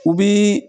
U bi